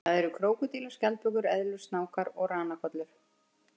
Það eru krókódílar, skjaldbökur, eðlur, snákar og ranakollur.